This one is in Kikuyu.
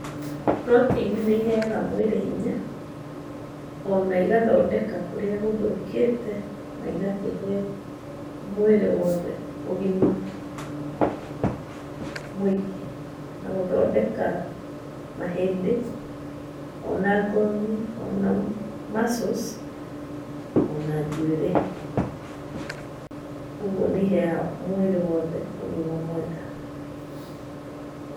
Mburoteini nĩiheaaga mwĩrĩ hinya, ona igathondeka kũrĩa gũthũkĩte na igakĩhe mwĩrĩ wothe ũgima mũingĩ. Na gũthondeka mahĩndĩ ona ngothi ona muscles ona njuĩrĩ. Kuoguo nĩiheaga mwĩrĩ wothe ũgima mwega.